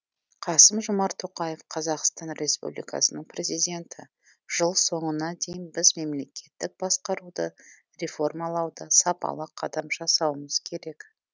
қасым жомарт тоқаев қазақстан республикасының президенті жыл соңына дейін біз мемлекеттік басқаруды реформалауда сапалы қадам жасауымыз керек